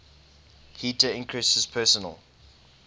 heater increases personal